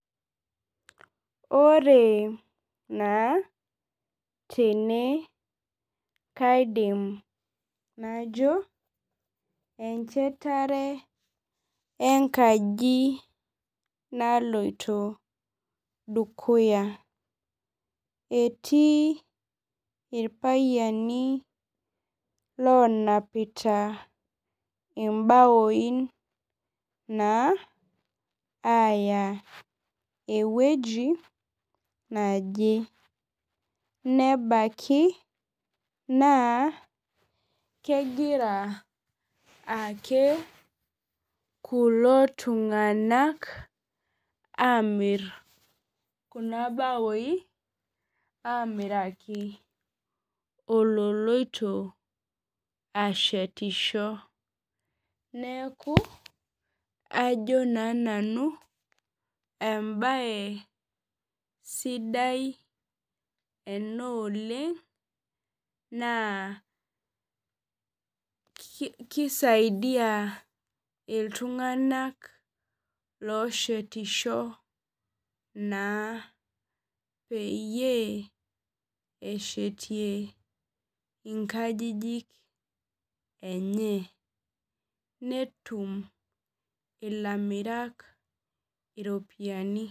Ore na tene kaidim najo enchetare enkaji naloito dukuya etii irpayiani lonapita imbawoi aya ewueji naji nebaki nakegira aake kulo tunganak amitmr kuna baoi amiraki ololoito ashetisho neaku ajo na nanu embae sidai ena oleng nakisaidua ltunganak loshetisho na peyie eshetie nkajijik enye metum ilamiram iropiyiani.